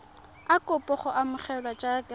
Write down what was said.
a kopa go amogelwa jaaka